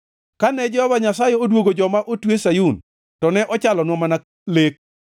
Kane Jehova Nyasaye odwogo joma otwe Sayun, to ne ochalonwa mana lek.